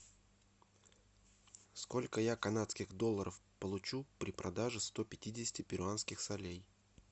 сколько я канадских долларов получу при продаже сто пятидесяти перуанских солей